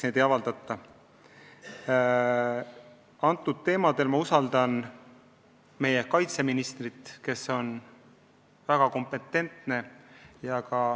Selles valdkonnas ma usaldan meie kaitseministrit, kes on väga kompetentne.